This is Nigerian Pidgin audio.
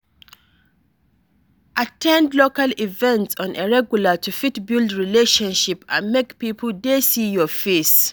At ten d local events on a regular to fit build relationship and make pipo dey see your face